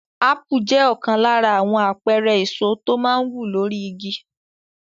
Ápù jẹ́ ọ̀kan lára àwọn àpẹẹrẹ èso tó máa ń wù lórí igi.